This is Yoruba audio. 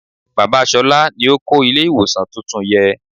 Bàbá ṣolá ni ó kó ilé ìwòsàn tuntun yẹ.